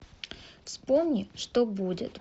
вспомни что будет